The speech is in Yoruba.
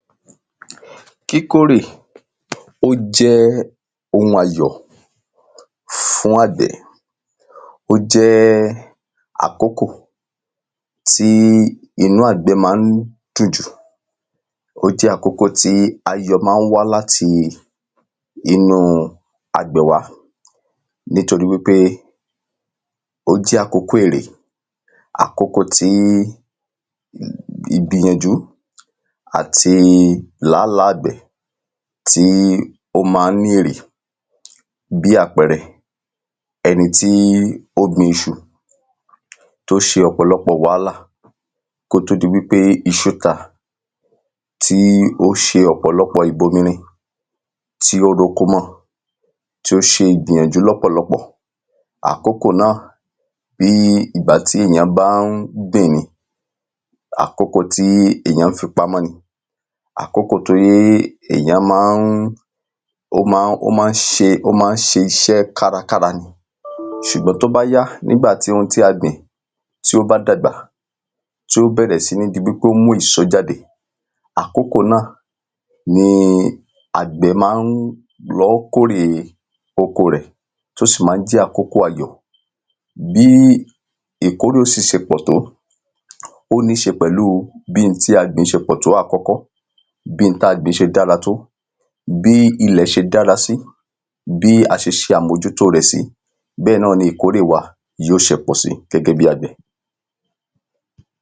Kíkórè ó jẹ́ ohun ayọ̀ fún àgbẹ̀ Ó jẹ́ àkókò tí inú àgbẹ̀ ma ń dùn jù. Ó jẹ́ àkókò tí ayọ̀ má ń wá láti inú àgbẹ̀ wa. Nítorí wípé ó jẹ́ àkókò èrè. Àkókò tí ì ìgbìyànjú àti làálàá àgbẹ̀ tí ó má ń ní èrè. Bí àpẹrẹ, ẹni tí ó gbin iṣu. Tó ṣe ọ̀pọ̀lọpọ wàhálà kó tó di pé iṣú ta. Tí ó ṣe ọ̀pọ̀lọpọ ìbomirin. Tí ó roko mọ tí ó sì gbìyànjú lọ́pọ̀lọpọ̀. Àkókò náà bí ìgbà tí èyàn bá ń gbìn ni. Àkókò tí èyà̃ fi pamọ́ ni. Àkókò tíí èyàn má ń ó ma ń ó ma ń ṣe ó má ń ṣe iṣẹ́ kárakára. S̩ùgbọn tí ó bá yá, nígbà tí ohun tí a gbìn tí ó bam dàgbà, tí ó bẹ̀rẹ̀ sí ní di wípé ó ń mú èso jáde. Àkókò náà ni àgbẹ má ń lọ kórè oko rẹ̀. Tó sì má ń jẹ́ àkókò ayọ̀. Bí ìkórè ó sì se pọ̀ tó, ó ní se pẹ̀lu bí n tí a gbìn se pọ̀ tó àkọ́kọ́. Bí n táa gbìn se dára tó. Bí ilẹ̀ se dára sí. Bí a se ṣe àmójútó rẹ̀ sí. Bẹ́ẹ̀ náà ni ìkórè wa yó se pọ̀ sí gẹ́gẹ́ bí àgbẹ̀.